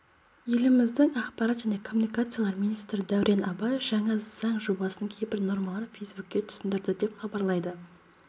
еліміздің ақпарат және коммуникациялар министрі дәурен абаев жаңа заң жобасының кейбір нормаларын фейсбукте түсіндірді деп хабарлайды